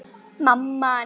Þá rifnar aldan upp.